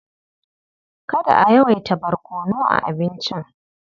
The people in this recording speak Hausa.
Kada a yawaita barkono a abincin.